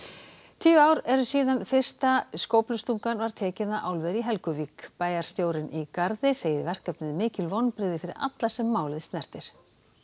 tíu ár eru síðan fyrsta skóflustungan var tekin að álveri í Helguvík bæjarstjórinn í Garði segir verkefnið mikil vonbrigði fyrir alla sem málið snertir